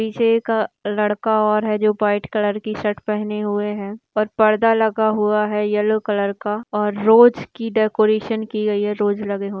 एक लड़का और है जो व्हाइट कलर की शर्ट पहने हुए है और पर्दा लगा हुआ है येलो कलर का और रोज की डेकोरेशन की गयी है रोज लगे हुए है।